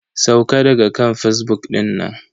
Sauka daga kan fazbuk dinnan.